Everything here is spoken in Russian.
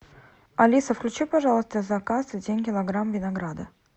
алиса включи пожалуйста в заказ один килограмм винограда